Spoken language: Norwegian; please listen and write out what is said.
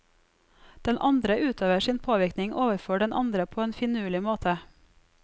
Den andre utøver sin påvirkning overfor den andre på en finurlig måte.